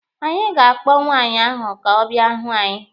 Anyị ga-akpọ nwaanyị ahụ ka ọ bịa hụ anyị.